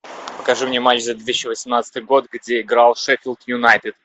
покажи мне матч за две тысячи восемнадцатый год где играл шеффилд юнайтед